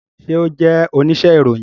Ṣe o jẹ onise iroyin?